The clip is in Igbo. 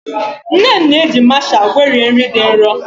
Nne m na-eji masha gwerie nri dị nro.